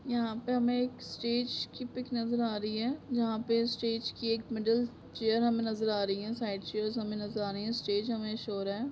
यहाँ पे हमे एक स्टेज की पिक नजर आ रही है यहाँ पे स्टेज की एक मिडल चेयर हमे नजर आ रही है साइट्स चेयर हमें नजर आ रही हैं स्टेज हमे शो हो रहा है।